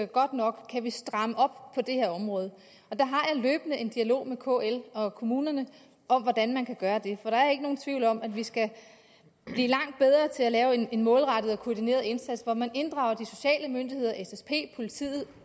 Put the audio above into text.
godt nok kan vi stramme op på det her område der har jeg løbende en dialog med kl og kommunerne om hvordan man kan gøre det for der er ikke nogen tvivl om at vi skal blive langt bedre til at lave en målrettet og koordineret indsats hvor man inddrager de sociale myndigheder ssp politiet og